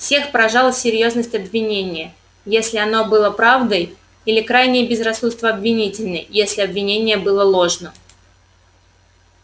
всех поражала серьёзность обвинения если оно было правдой или крайнее безрассудство обвинителей если обвинение было ложно